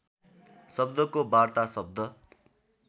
शब्दको वार्ता शब्द